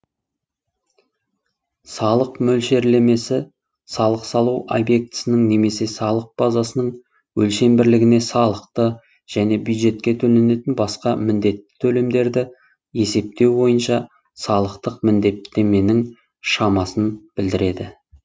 салық мөлшерлемесі салық салу объектінің немесе салық базасының өлшем бірлігіне салықты және бюджетке төленетін басқа міндетті төлемдерді есептеу бойынша салықтық міндеттеменің шамасын білдіреді